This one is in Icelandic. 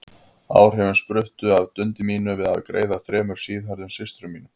Áhrifin spruttu af dundi mínu við að greiða þremur síðhærðum systrum mínum.